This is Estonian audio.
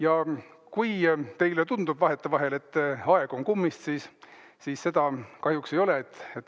Ja kui teile tundub vahetevahel, et aeg on kummist, siis seda see kahjuks ei ole.